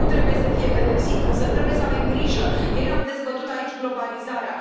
Nimeni nu trebuie să fie pedepsit, însă trebuie să avem grijă ieri am dezbătut aici globalizarea.